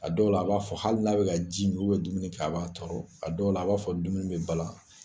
A dɔw la a b'a fɔ hali n'a bɛ ka ji min dumuni kɛ a b'a tɔrɔ a dɔw la a b'a fɔ dumuni bɛ balan